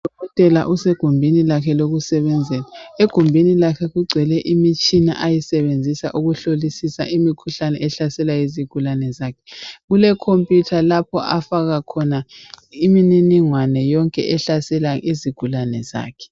Udokotela usegumbini lakhe lokusebenzela. Egumbini lakhe kugcwele imitshina ayisebenzisa ukuhlolisisa imikhuhlane ehlasela izigulane zakhe. Kulomabona kude lapha afaka khona imininingwane yonke ehlasela izigulane zakhe .